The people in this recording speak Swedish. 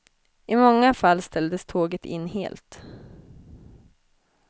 I många fall ställdes tåget in helt.